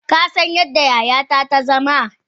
Kasan yadda yayata ta zama?